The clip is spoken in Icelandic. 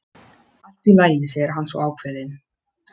Allt í lagi, segir hann svo ákveðinn.